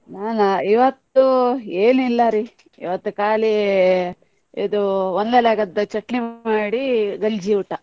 ನಾನಾ ಇವತ್ತು ಏನಿಲ್ಲ ರೀ, ಇವತ್ತು ಖಾಲಿ ಇದು ಒಂದೆಲಗದ್ದು ಚಟ್ನಿ ಮಾಡಿ ಗಂಜಿ ಊಟ.